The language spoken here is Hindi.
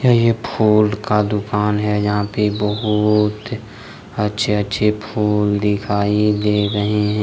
यह एक फूल का दुकान है यहां पे बहुत अच्छे अच्छे फूल दिखाई दे रहे है।